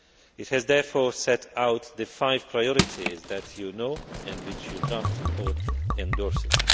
It has therefore set out the five priorities that you know and which your draft report endorses.